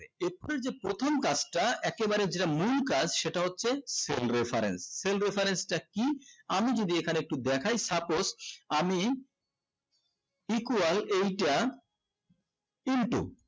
এখুনি যেই প্রথম কাজ টা একেবারে যেইটা মূল কাজ সেটা হচ্ছে cell reference cell reference cell reference cell reference টা কি আমি যদি এখানে একটু দেখায় suppose আমি equal এই টা into